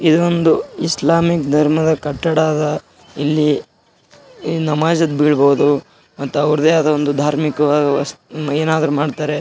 ಇದೊಂದು ಇಸ್ಲಾಮಿಕ್ ಧರ್ಮದ ಕಟ್ಟಡ ಅದ ಇಲ್ಲಿ ನಮಾಜ್ ಗೆ ಬಿಲ್ಬಹುದು ಮತ್ತೆ ಅವ್ರದ್ದೇ ಅದ ಧಾರ್ಮಿಕವಾದ ಏನಾದ್ರು ಮಾಡ್ತಾರೆ.